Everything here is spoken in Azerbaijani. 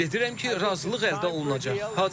Ümid edirəm ki, razılıq əldə olunacaq.